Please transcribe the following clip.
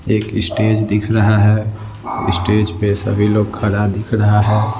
एक स्टेज दिख रहा है स्टेज पे सभी लोग खड़ा दिख रहा है।